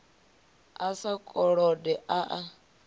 a sa kolode a a